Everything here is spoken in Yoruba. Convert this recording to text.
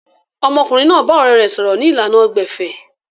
Ọmọkùnrin náà bá ọ̀rẹ̀ rẹ̀ sọ̀rọ̀ ni ìlànà gbẹ̀fẹ̀